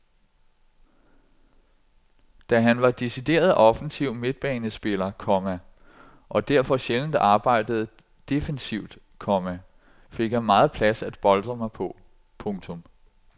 Da han var decideret offensiv midtbanespiller, komma og derfor sjældent arbejdede defensivt, komma fik jeg meget plads at boltre mig på. punktum